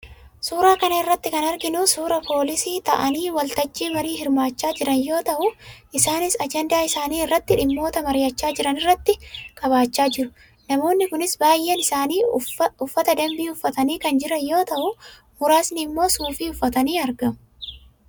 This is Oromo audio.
Suuraa kana irratti kan arginu suuraa poolisii taa'anii waltajjii marii hirmaachaa jiran yoo ta'u, isaanis ajandaa isaanii irratti dhimmoota mari'achaa jiran rratti qabachaa jiru. Namoonni kunis baay'een isaanii uffa danbii uffatanii kan jiran yoo ta'u, muraasni immoo suufii uffatanii argamu.